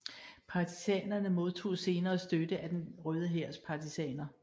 Partisanerne modtog senere støtte af Den Røde Hærs partisaner